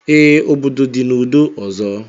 Ee, obodo dị n'udo ọzọ